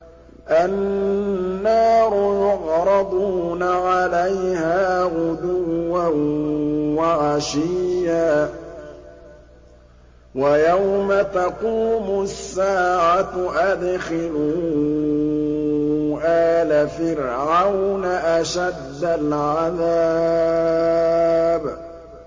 النَّارُ يُعْرَضُونَ عَلَيْهَا غُدُوًّا وَعَشِيًّا ۖ وَيَوْمَ تَقُومُ السَّاعَةُ أَدْخِلُوا آلَ فِرْعَوْنَ أَشَدَّ الْعَذَابِ